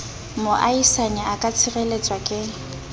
moahisane a ka tshireletswa ke